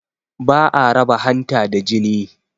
Ba a raba hanta da jini